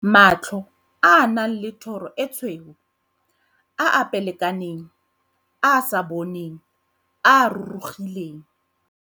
Matlho a a nang le thoro e tshweu, a a pelekaneng, a a sa boneng, a a rurugileng.